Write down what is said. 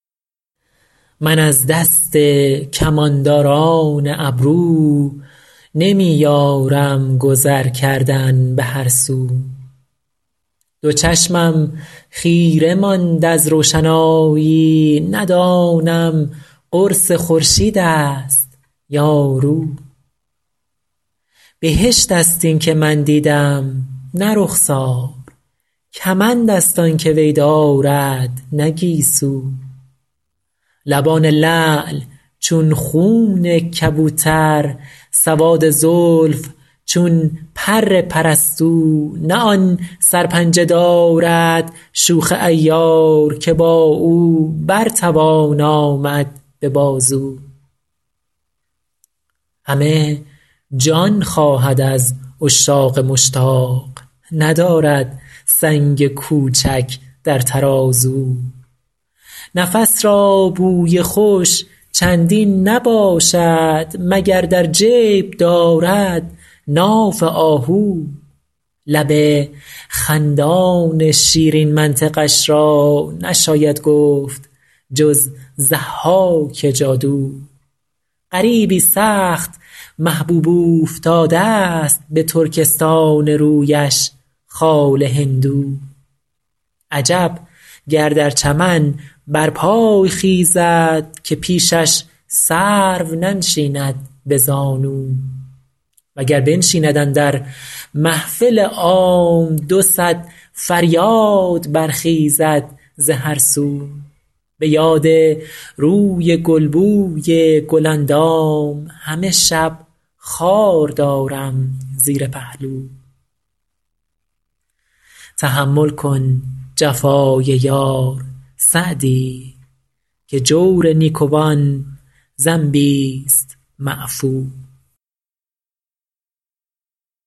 من از دست کمانداران ابرو نمی یارم گذر کردن به هر سو دو چشمم خیره ماند از روشنایی ندانم قرص خورشید است یا رو بهشت است این که من دیدم نه رخسار کمند است آن که وی دارد نه گیسو لبان لعل چون خون کبوتر سواد زلف چون پر پرستو نه آن سرپنجه دارد شوخ عیار که با او بر توان آمد به بازو همه جان خواهد از عشاق مشتاق ندارد سنگ کوچک در ترازو نفس را بوی خوش چندین نباشد مگر در جیب دارد ناف آهو لب خندان شیرین منطقش را نشاید گفت جز ضحاک جادو غریبی سخت محبوب اوفتاده ست به ترکستان رویش خال هندو عجب گر در چمن برپای خیزد که پیشش سرو ننشیند به زانو و گر بنشیند اندر محفل عام دو صد فریاد برخیزد ز هر سو به یاد روی گل بوی گل اندام همه شب خار دارم زیر پهلو تحمل کن جفای یار سعدی که جور نیکوان ذنبیست معفو